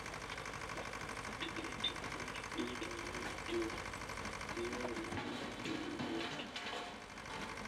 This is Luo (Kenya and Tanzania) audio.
Ticketing mar digital miyo tiyo gi yore mag wuoth bedo mayot.